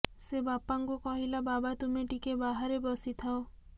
ସେ ବାପାଙ୍କୁ କହିଲା ବାବା ତୁମେ ଟିକେ ବାହାରେ ବସିଥାଅ